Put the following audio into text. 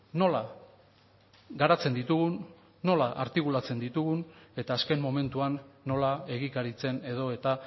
nola garatzen ditugun nola artikulatzen ditugun eta azken momentuan nola egikaritzen edo eta